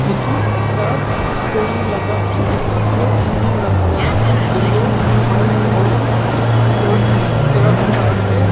Etu ekta storey laga building ase building la colour ase yellow white aro tetter terrocota ase.